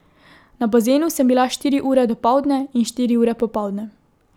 Na bazenu sem bila štiri ure dopoldne in štiri ure popoldne.